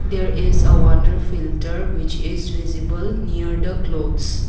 there is a water filter which is visible near the clothes.